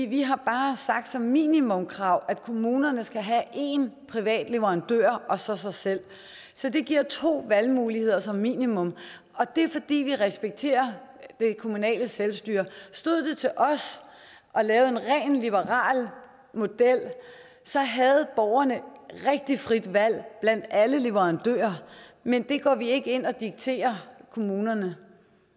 vi har bare sagt at som minimumkrav kommunerne have en privat leverandør og så sig selv så det giver to valgmuligheder som minimum og det er fordi vi respekterer det kommunale selvstyre stod det til os at lave en rent liberal model havde borgerne rigtigt frit valg blandt alle leverandører men det går vi ikke ind og dikterer kommunerne